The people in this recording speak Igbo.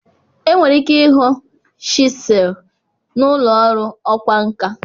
Enwere ike ịhụ chisel n'ụlọ ọrụ ọkwá nkà.